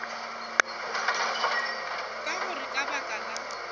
ka gore ka baka la